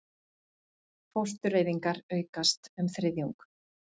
Fóstureyðingar aukast um þriðjung